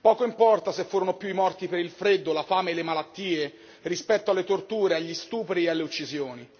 poco importa se furono più i morti per il freddo, la fame e le malattie rispetto alle torture, agli stupri e alle uccisioni